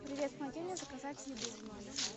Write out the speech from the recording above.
привет помоги мне заказать еду в номер